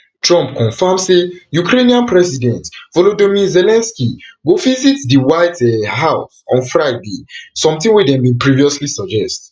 trump confam say ukrainian president volodomyr zelensky go visit di white um house on friday something dem bin previously suggest